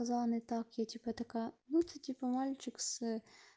занят так я типа такая ну ты типа мальчик с